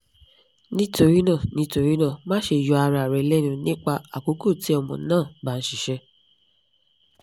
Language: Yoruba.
nitorina nitorina maṣe yọ ara rẹ lẹnu nipa akoko ti ọmọ naa ba n ṣiṣẹ